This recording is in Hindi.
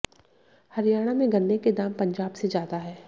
हरियाणा में गन्ने के दाम पंजाब से ज्यादा हैं